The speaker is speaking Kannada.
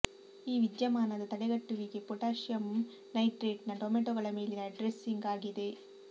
ಈ ವಿದ್ಯಮಾನದ ತಡೆಗಟ್ಟುವಿಕೆ ಪೊಟಾಷಿಯಂ ನೈಟ್ರೇಟ್ನ ಟೊಮೆಟೊಗಳ ಮೇಲಿನ ಡ್ರೆಸ್ಸಿಂಗ್ ಆಗಿದೆ